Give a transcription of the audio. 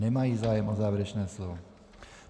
Nemají zájem o závěrečné slovo.